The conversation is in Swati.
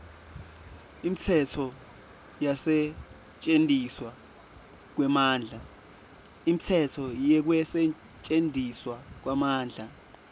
imitsetfo yekusetjentiswa kwemandla